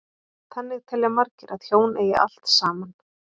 Þannig telja margir að hjón eigi allt saman.